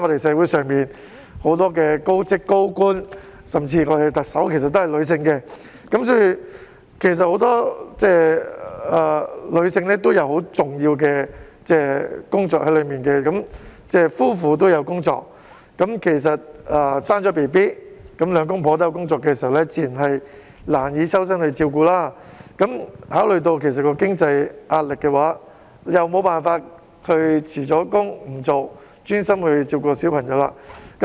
社會上很多高職位人士和高官，甚至我們的特首也是女性，所以很多女性其實也有很重要的工作，而當夫婦兩者也有工作時，在生完小孩後，如果兩夫婦也有工作，自然便難以抽身照顧小孩，若考慮到經濟能力問題，無法辭職專心照顧小孩時。